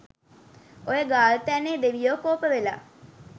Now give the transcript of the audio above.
ඔය ගාල්තැන්නෙ දෙවියො කෝප වෙලා